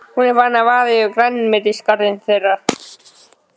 Hún er farin að vaða yfir grænmetisgarðinn þeirra.